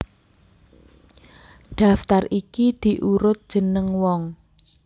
Daftar iki diurut jeneng wong